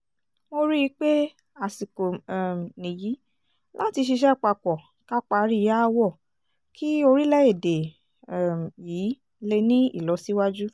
mo rí i pé àsìkò um nìyí láti ṣiṣẹ́ papọ̀ ká parí aáwọ̀ kí orílẹ̀‐èdè um yìí lè ní ìlọsíwájú